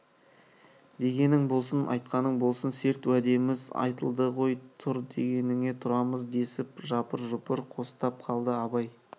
дегенің болсын айтқаның болсын серт уәдеміз айтылды ғой тұр дегеніңе тұрамыз десіп жапыр-жұпыр қостап қалды абай